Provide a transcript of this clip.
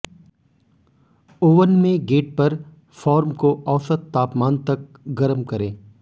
oven में गेट पर फॉर्म को औसत तापमान तक गरम करें